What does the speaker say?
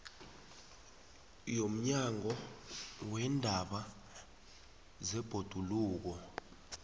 yomnyango weendaba zebhoduluko